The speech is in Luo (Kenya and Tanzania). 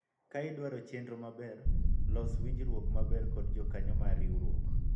ka idwaro chiemo maber ,los winjruok maber kod jokanyo mar riwruok